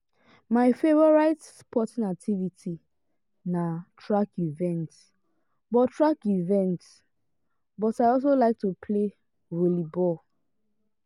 my favorite sporting activity na track events but track events but i also like to play volleyball.